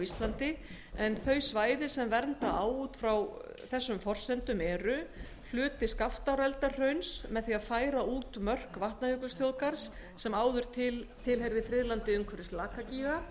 íslandi en þau svæði sem vernda á út frá þessum forsendur eru hluti skaftáreldahrauns með því að færa út mörk vatnajökulsþjóðgarðs sem áður tilheyrði friðlandi umhverfis lakagíga